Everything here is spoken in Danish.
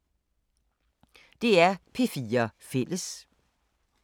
DR P4 Fælles